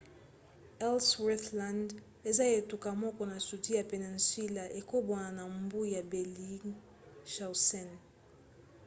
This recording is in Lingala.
ellsworth land eza etuka moko na sudi ya peninsula ekabwana na mbu ya bellingshausen